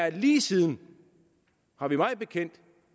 at vi lige siden mig bekendt